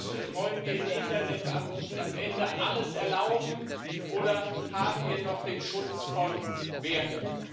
Und wollen wir im Internet am Ende alles erlauben, oder haben wir noch den Schutz von Werten?